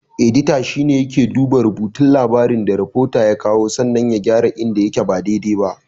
Edita shine yake duba rubutun labarin da rafota ya kawo sannan ya gyara inda yake ba dai-dai ba.